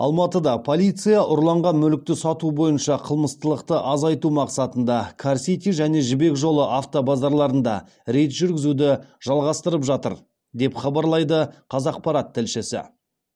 алматыда полиция ұрланған мүлікті сату бойынша қылмыстылықты азайту мақсатында кар сити және жібек жолы автобазарларында рейд жүргізуді жалғастырып жатыр деп хабарлайды қазақпарат тілшісі